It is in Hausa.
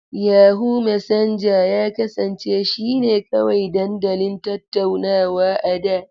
Yahoo Mesenja ya kasance shine kawai dandalin tattaunawa a da.